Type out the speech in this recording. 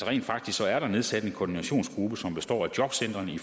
rent faktisk er der nedsat en koordinationsgruppe som består af jobcentrene i